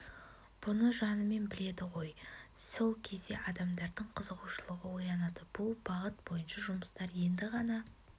бұны жанымен біледі ғой сол кезде адамдардың қызығушылығы оянады бұл бағыт бойынша жұмыстар енді ғана